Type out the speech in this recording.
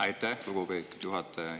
Aitäh, lugupeetud juhataja!